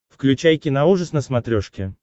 включай киноужас на смотрешке